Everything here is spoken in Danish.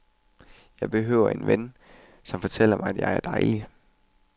Jeg behøver ikke en ven, som fortæller mig, at jeg er dejlig.